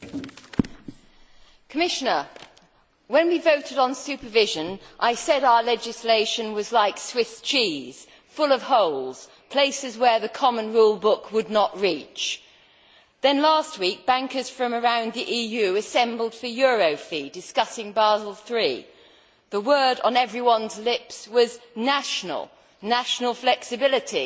Madam President, can I say to the Commissioner that when we voted on supervision, I said our legislation was like Swiss cheese, full of holes, places where the common rule book would not reach. Then, last week, bankers from around the EU assembled for Eurofi, discussing Basel III. The word on everyone's lips was national' national flexibility,